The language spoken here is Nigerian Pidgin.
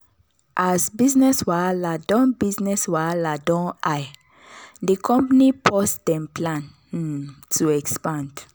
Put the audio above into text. as business wahala don business wahala don high di company pause dem plan um to expand.